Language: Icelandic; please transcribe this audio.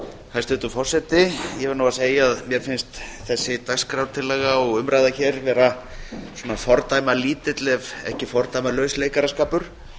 hæstvirtur forseti ég verð nú að segja að mér finnst þessi dagskrártillaga og umræða hér vera fordæmalítill ekki fordæmalaus leikaraskapur